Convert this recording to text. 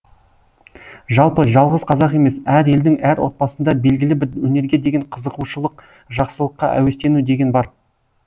жалпы жалғыз қазақ емес әр елдің әр отбасында белгілі бір өнерге деген қызығушылық жақсылыққа әуестену деген бар